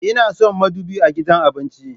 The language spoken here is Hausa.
Ina son madubi a gidan abinci